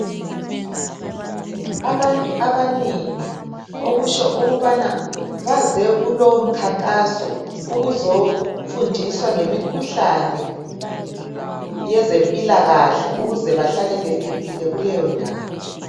Abantu abanengi okutsho ukubana baze kulowomkhankaso ukuzofundiswa ngemikhuhlane yezempilakahle ukuze bahlale bephephile kuleyondawo.